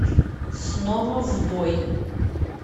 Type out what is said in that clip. снова в бой